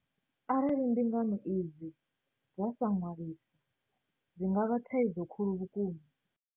Arali mbingano idzi dza sa ṅwaliswa, dzi a vhanga thaidzo khulu vhukuma.